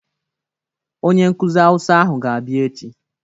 Onyenkụzị hausa ahụ ga-abịa echi.